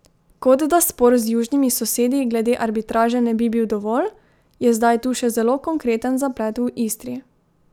Kot da spor z južnimi sosedi glede arbitraže ne bi bil dovolj, je zdaj tu še zelo konkreten zaplet v Istri.